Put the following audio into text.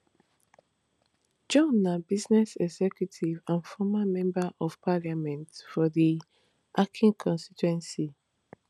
john na business executive and former member of parliament for di akan constituency